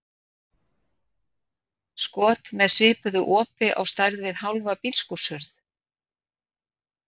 skot með sviðnu opi á stærð við hálfa bílskúrshurð.